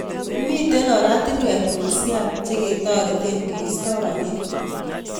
Mitei orastunwek ngisiat cheketorete keisto panyek